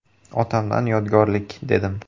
Otamdan yodgorlik”, dedim.